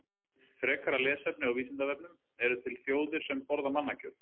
Frekara lesefni á Vísindavefnum: Eru til þjóðir sem borða mannakjöt?